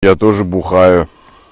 я тоже бухаю